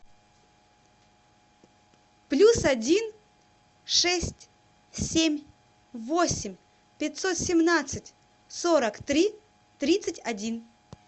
плюс один шесть семь восемь пятьсот семнадцать сорок три тридцать один